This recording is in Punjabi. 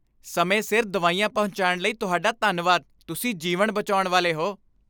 ਸਮੇਂ ਸਿਰ ਦਵਾਈਆਂ ਪਹੁੰਚਾਉਣ ਲਈ ਤੁਹਾਡਾ ਧੰਨਵਾਦ। ਤੁਸੀਂ ਜੀਵਨ ਬਚਾਉਣ ਵਾਲੇ ਹੋ।